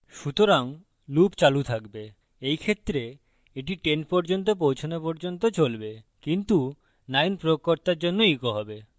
সুতরাং loop চালু থাকবে in ক্ষেত্রে এটি 10 পর্যন্ত পৌছানো পর্যন্ত চলবে কিন্তু 9 প্রয়োগকর্তার জন্য echoed হবে